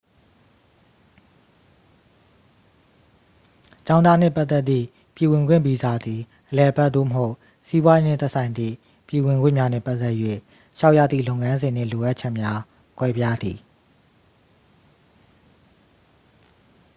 ကျောင်းသားနှင့်ပတ်သက်သည့် ပြည်ဝင်ခွင့်ဗီဇာသည် အလည်အပတ် သို့မဟုတ် စီးပွားရေး နှင့်သက်ဆိုင်သည့် ပြည်ဝင်ခွင့်များနှင့် ပတ်သက်၍ လျှောက်ရသည့် လုပ်ငန်းစဉ် နှင့် လိုအပ်ချက်များ ကွဲပြားသည်